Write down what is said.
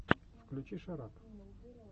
включи шарап